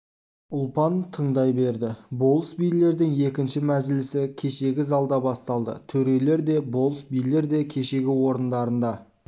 ұлпан тыңдай берді болыс-билердің екінші мәжілісі кешегі залда басталды төрелер де болыс-билер де кешегі орындарында